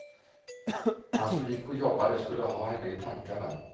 Han som gick och jobbade skulle ha henne i tankarna.